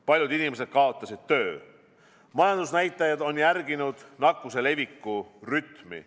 Paljud inimesed on kaotanud töö, majandusnäitajad on järginud nakkuse leviku rütmi.